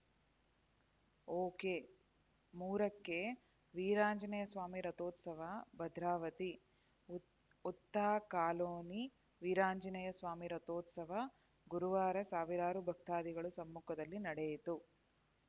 okay ಮೂರಕ್ಕೆವೀರಾಂಜನೇಯ ಸ್ವಾಮಿ ರಥೋತ್ಸವ ಭದ್ರಾವತಿ ಹುತ್ತಾಕಾಲೋನಿ ವೀರಾಂಜನೇಯ ಸ್ವಾಮಿ ರಥೋತ್ಸವ ಗುರುವಾರ ಸಾವಿರಾರು ಭಕ್ತಾದಿಗಳ ಸಮ್ಮುಖದಲ್ಲಿ ನಡೆಯಿತು